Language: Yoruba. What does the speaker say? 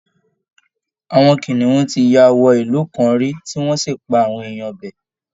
Àwọn kìnìún ti ya wọ ìlú kan rí tí wọ́n sì pa àwọn èèyàn ibẹ̀